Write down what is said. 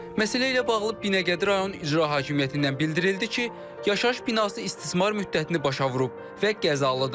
Məsələ ilə bağlı Binəqədi rayon İcra Hakimiyyətindən bildirildi ki, yaşayış binası istismar müddətini başa vurub və qəzalıdır.